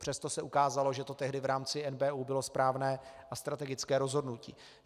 Přesto se ukázalo, že to tehdy v rámci NBÚ bylo správné a strategické rozhodnutí.